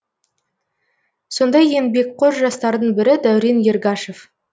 сондай еңбекқор жастардың бірі дәурен ергашев